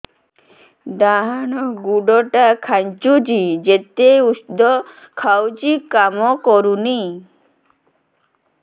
ଡାହାଣ ଗୁଡ଼ ଟା ଖାନ୍ଚୁଚି ଯେତେ ଉଷ୍ଧ ଖାଉଛି କାମ କରୁନି